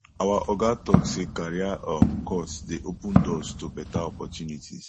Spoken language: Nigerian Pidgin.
our oga tok sey career um course dey open doors to beta opportunities